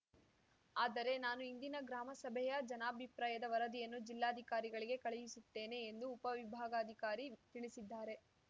ಆದರೆ ನಾನು ಇಂದಿನ ಗ್ರಾಮಸಭೆಯ ಜನಾಭಿಪ್ರಾಯದ ವರದಿಯನ್ನು ಜಿಲ್ಲಾಧಿಕಾರಿಗಳಿಗೆ ಕಳುಹಿಸುತ್ತೇನೆ ಎಂದು ಉಪವಿಭಾಗಾಧಿಕಾರಿ ತಿಳಿಸಿದ್ದಾರೆ